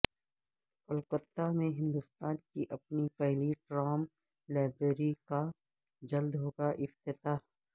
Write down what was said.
کولکتہ میں ہندوستان کی اپنی پہلی ٹرام لائبریری کا جلد ہوگا افتتاح